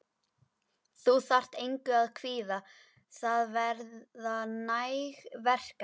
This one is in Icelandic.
Þú þarft engu að kvíða, það verða næg verkefni.